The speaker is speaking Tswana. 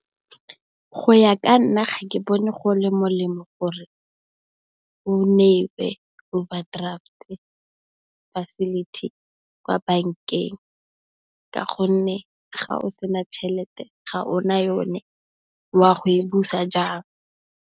Go ya ka nna ga ke bone go le molemo gore o newe overdraft facility kwa bankeng ka gonne, ga o sena tšhelete ga ona yone wa go e busa jang?